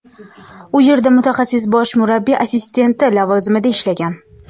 U yerda mutaxassis bosh murabbiy assistenti lavozimida ishlagan.